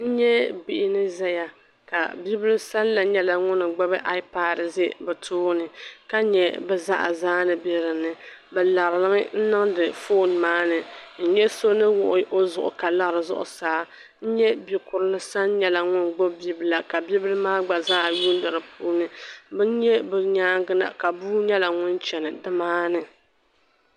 n nya bihi ni zaya ka bibila sani la nyɛla ŋun gbubi aipaari za bɛ tooni ka nya bɛ zaɣa zaa ni be dinni bɛ larimi n-niŋdi foon maa ni n nya so ni wuɣi o zuɣu ka lari zuɣusaa n nya bikurili sani nyɛla ŋun gbubi bibila ka bibila maa gba zaa yuuni di puuni n nya bɛ nyaaŋga na ka bua nyɛla ŋun chana ni maani